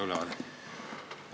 Olge kena, andke ülevaade.